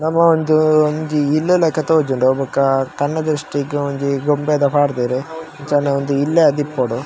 ನಮ ಒಂಜೀ ಒಂಜಿ ಇಲ್ಲ್ ಲಕ ತೋಜುಂಡು ಅವ್ ಬೊಕ ಕಣ್ಣು ದ್ರಷ್ಟಿ ಗ್ ಒಂಜಿ ಗೊಂಬೆದ ಪಾಡ್ದೆರ್ ಅಂಚನೆ ಒಂಜಿ ಇಲ್ಲ ಆದಿಪ್ಪೊಡು.